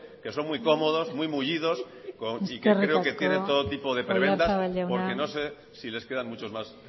que son muy cómodos muy mullidos y que creo que tiene todo tipo de prebendas porque no sé si les quedan muchos más